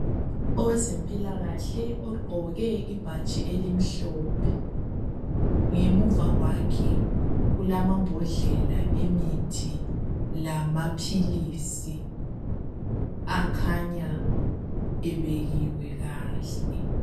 Owezempilakahle ogqoke ibhatshi elimhlophe, ngemuva kwakhe kulamambodlela emithi lamaphilisi akhanya ebekiwe kahle.